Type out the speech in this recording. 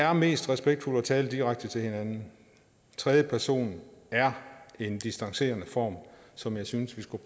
er mest respektfuldt at tale direkte til hinanden tredje person er en distancerende form som jeg synes vi skulle